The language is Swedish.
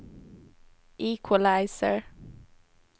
equalizer